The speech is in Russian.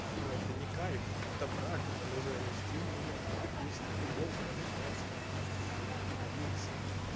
что это не кайф это брак это нужно нести и менять брак есть на любом производстве в принципе